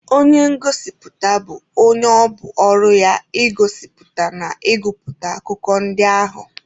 Onye ngosipụta bụ onye ọ bụ ọrụ ya igosipụta na ịgụpụta akụkọ ndị ahụ.